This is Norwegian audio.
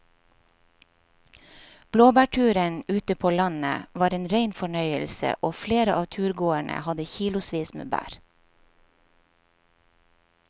Blåbærturen ute på landet var en rein fornøyelse og flere av turgåerene hadde kilosvis med bær.